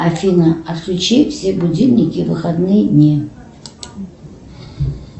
афина отключи все будильники в выходные дни